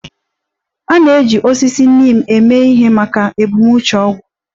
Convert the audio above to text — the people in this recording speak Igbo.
A na-eji osisi neem eme ihe maka ebumnuche ọgwụ